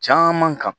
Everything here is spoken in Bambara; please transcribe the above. Caman kan